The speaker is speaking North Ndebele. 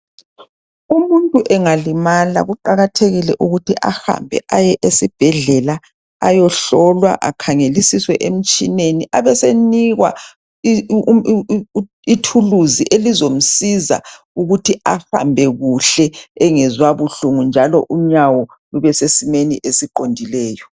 umuntu engalimala kuqakathekile ukuthi ahambe aye esibhedlela ayohlolalwa akhangelisiswe emtshineni abesenikwa ithuluzi elizomsiza ukuthi ahambe kuhle engezwa buhlungu njalo unyawo lube sesimeni esiqondileyo